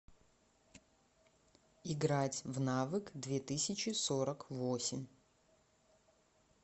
играть в навык две тысячи сорок восемь